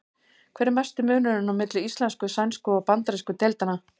Hver er mesti munurinn á milli íslensku-, sænsku- og bandarísku deildanna?